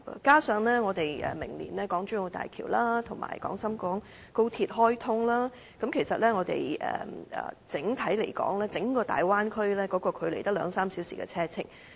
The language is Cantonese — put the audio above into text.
加上我們明年港珠澳大橋及港深廣高速鐵路開通，我們與整個大灣區的距離只有兩三小時車程。